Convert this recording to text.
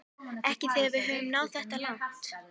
Ekki þegar við höfum náð þetta langt